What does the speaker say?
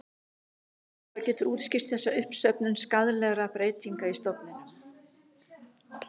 Spyrja má hvað getur útskýrt þessa uppsöfnun skaðlegra breytinga í stofninum.